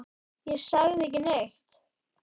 Ég sagði ekki neitt.